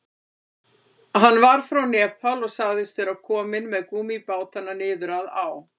Hann var frá Nepal og sagðist vera kominn með gúmmíbátana niður að á.